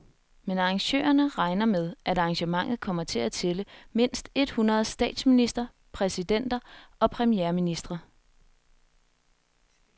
Men arrangørerne regner med, at arrangementet kommer til at tælle mindst et hundrede statsministre, præsidenter og premierministre.